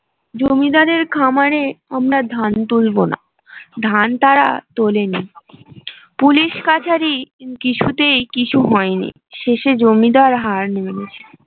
জমিদারের খামারে আমরা ধান তুলব না ধান তারা তোলেনি পুলিশ কাছারি কিছুতেই কিছু হয়নি শেষে জমিদার হার মেনে